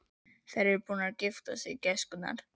Eru þær búnar að gifta sig, gæskurnar?